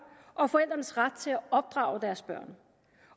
og forældrenes ret til at opdrage deres børn